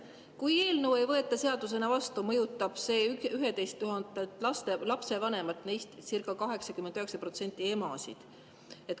Kui eelnõu ei võeta seadusena vastu, mõjutab see 11 000 lapsevanemat, neist circa 89% emasid.